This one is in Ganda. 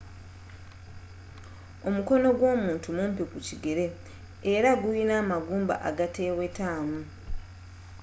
omukono gwomuntu mumpi kukigere era guyina amagumba agatewetamu